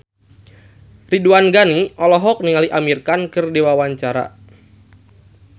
Ridwan Ghani olohok ningali Amir Khan keur diwawancara